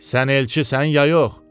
Sən elçisən ya yox?